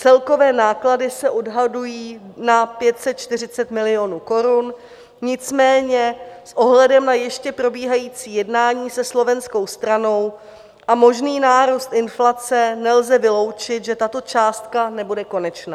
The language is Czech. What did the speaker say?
Celkové náklady se odhadují na 540 milionů korun, nicméně s ohledem na ještě probíhající jednání se slovenskou stranou a možný nárůst inflace nelze vyloučit, že tato částka nebude konečná.